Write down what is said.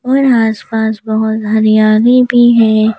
और आसपास बहुत हरियाली भी है।